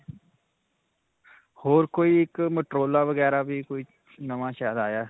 ਹੋਰ ਕੋਈ ਇੱਕ motorola ਵਗੈਰਾ ਵੀ ਕੋਈ ਨਵਾਂ ਸ਼ਾਇਦ ਆਇਆ.